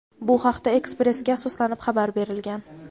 Bu haqda "Express"ga asoslanib xabar berilgan.